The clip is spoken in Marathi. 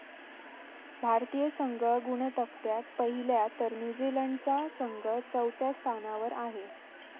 भारतीय संघ गुणतक्त्यात पहिल्या तर न्यूझीलंडचा संघ चौथ्या स्थानावर आहे.